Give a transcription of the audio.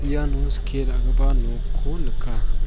iano skie ra·gipa nokko nika.